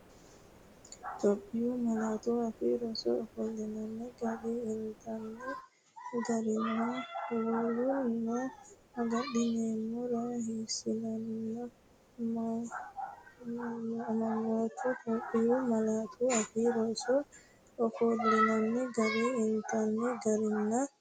Itophiyu Malaatu Afii Roso ofollinanni gari, intanni garinna woluno agadhinammora hasiissanno amanyootuwa Itophiyu Malaatu Afii Roso ofollinanni gari, intanni garinna.